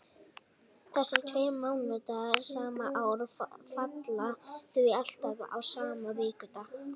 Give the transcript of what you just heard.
Þessir tveir mánaðardagar sama árs falla því alltaf á sama vikudag.